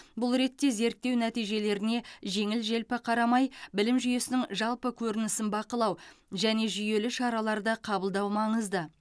бұл ретте зерттеу нәтижелеріне жеңіл желпі қарамай білім жүйесінің жалпы көрінісін бақылау және жүйелі шараларды қабылдау маңызды